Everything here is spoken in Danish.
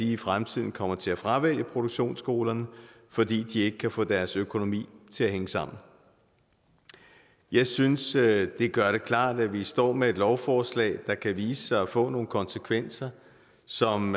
i fremtiden kommer til at fravælge produktionsskolerne fordi de ikke kan få deres økonomi til at hænge sammen jeg synes det gør det klart at vi står med et lovforslag der kan vise sig at få nogle konsekvenser som